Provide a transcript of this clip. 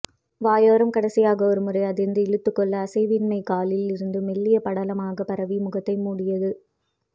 வாயோரம் கடைசியாக ஒருமுறை அதிர்ந்து இழுத்துக்கொள்ள அசைவின்மை காலில் இருந்து மெல்லிய படலமாக பரவி முகத்தை மூடியது